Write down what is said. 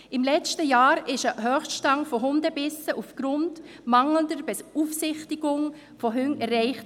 Im letzten Jahr wurde ein Höchststand von Hundebissen aufgrund mangelnder Beaufsichtigung von Hunden erreicht.